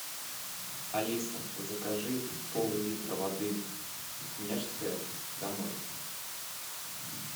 алиса закажи поллитра воды снежская домой